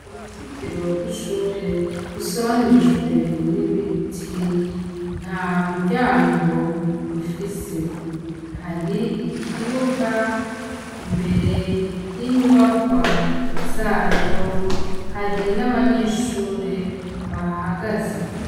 Uruzitiro rw'ishure rusoranijwe n'ibiti nta muryango rufise hari ikibuga imbere y'inyubakwa zayo hari n'abanyeshure bahahagaze.